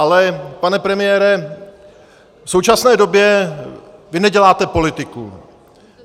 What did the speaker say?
Ale pane premiére, v současné době vy neděláte politiku.